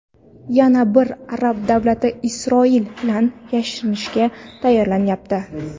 Yana bir arab davlati Isroil bilan yarashishga tayyorlanyapti.